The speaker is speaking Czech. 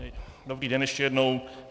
Dobrý den ještě jednou.